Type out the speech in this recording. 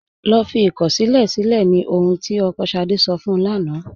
Lọ́ fí ikọ̀ṣílẹ̀ silẹ̀ ní ọ̀hun tí ọkọ́ Ṣádé sọ̀ fún ún lána.